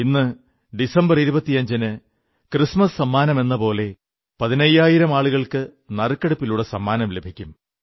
ഇന്ന് ഡിസംബർ 25 ന് ക്രിസ്മസ് സമ്മാനമെന്ന പോലെ പതിനയ്യായിരം ആളുകൾക്ക് നറുക്കെടുപ്പിലൂടെ സമ്മാനം ലഭിക്കും